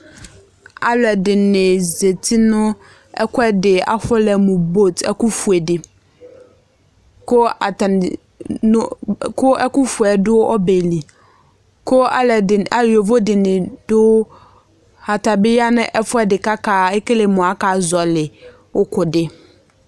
Alʋ ɛdɩnɩ zeti nʋ ɛkʋɛdɩ afɔlɛ mʋ bot, ɛkʋ fue dɩ,kʋ atanɩ ɛkʋ fuedʋ ɔbɛ liKʋ alʋ ɛdɩnɩ yovo dɩnɩ dʋ atabɩ ya nʋ ɛfʋɛdɩ kakele mʋ aka zɔlɩ ʋkʋ dɩ